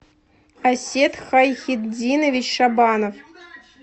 асет хайхетдинович шабанов